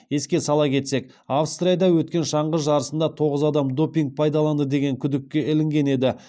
еске сала кетсек австрияда өткен шаңғы жарысында тоғыз адам допинг пайдаланды деген күдікке ілінген еді